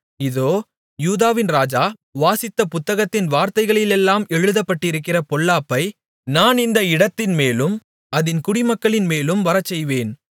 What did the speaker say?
இதோ யூதாவின் ராஜா வாசித்த புத்தகத்தின் வார்த்தைகளிலெல்லாம் எழுதப்பட்டிருக்கிற பொல்லாப்பை நான் இந்த இடத்தின்மேலும் அதின் குடிமக்களின்மேலும் வரச்செய்வேன்